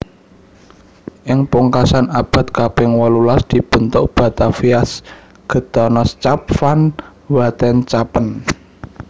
Ing pungkasan abad kaping wolulas dibentuk Bataviaasch Genotschap van Wetenschappen